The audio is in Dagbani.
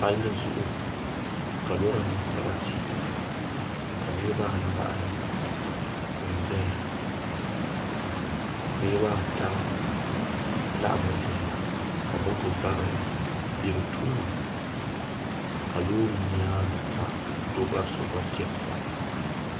Palli zuɣu ka lora niŋ sarati ka niraba anahi n ʒɛya niraba ata laɣammi ʒɛya ka moto bari bɛ bi tooni ka loori nyaangi sa doo bari so gba chɛni sa